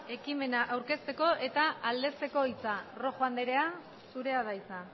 ekimena aurkezteko eta aldezteko hitza rojo andrea zurea da hitza